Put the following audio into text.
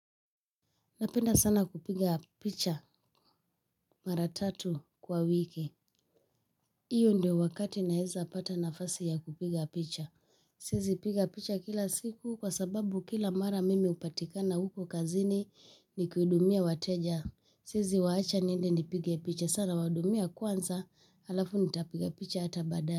Napenda sana kupiga picha mara tatu kwa wiki hiyo ndio wakati naweza pata nafasi ya kupiga picha. Siwezi piga picha kila siku kwa sababu kila mara mimi hupatikana huko kazini nikudumia wateja. Siwezi waacha niende nipige picha. Sa nawahudumia kwanza alafu nitapiga picha hata baadae.